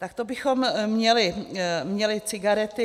Tak to bychom měli cigarety.